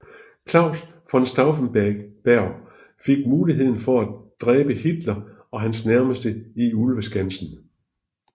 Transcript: Claus von Stauffenberg fik muligheden for at dræbe Hitler og hans nærmeste i Ulveskansen